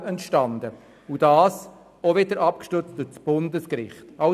Dieses wiederum ist durch das Bundesgericht abgestützt.